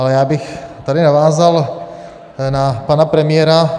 Ale já bych tady navázal na pana premiéra.